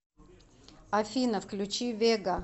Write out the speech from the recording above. афина включи вега